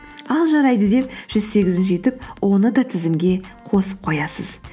ал жарайды деп жүз сегізінші етіп оны да тізімге қосып қоясыз